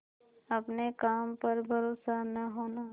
अपने काम पर भरोसा न होना